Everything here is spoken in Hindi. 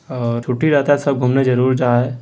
और छुट्टी रहता है सब घूमने जरूर जाए।